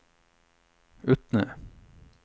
Utne